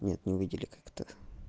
нет не увидели как-то